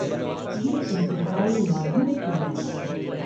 یہ انتہائی مایوس کن معاملہ ہے!